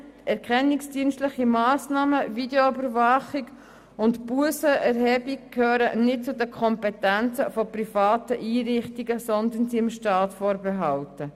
Erkennungsdienstliche Massnahmen, Videoüberwachung und die Erhebung von Bussen gehören nicht zu den Kompetenzen privater Einrichtungen, sondern sind dem Staat vorbehalten.